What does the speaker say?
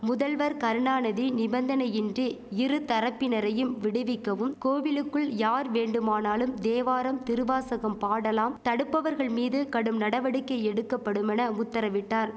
முதல்வர் கருணாநதி நிபந்தனையின்றி இருதரப்பினரையும் விடுவிக்கவும் கோவிலுக்குள் யார் வேண்டுமானாலும் தேவாரம் திருவாசகம் பாடலாம் தடுப்பவர்கள் மீது கடும் நடவடிக்கை எடுக்கபடுமென உத்தரவிட்டார்